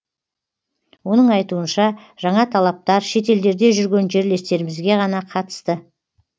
оның айтуынша жаңа талаптар шетелдерде жүрген жерлестерімізге ғана қатысты